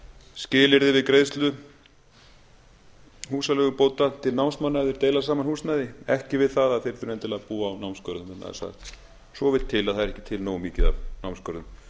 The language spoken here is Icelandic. skilyrðið við greiðslu húsaleigubóta til námsmanna ef þeir deila saman húsnæði ekki við það að þeir þurfi endilega að búa á námsgörðum vegna þess að svo vill til að það er ekki til nógu mikið af námsgörðum